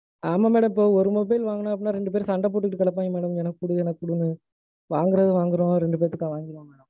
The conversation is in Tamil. ஆமா madam. இப்போ ஒரு mobile வாங்குனோம்னா, ரெண்டு பேரும் சண்ட போட்டுட்டு கெடப்பாங்க madam. எனக்கு குடு, எனக்கு குடுன்னு. வாங்குறது வாங்குறோம் ரெண்டு பேர்த்துக்கா வாங்கிருவோம் madam.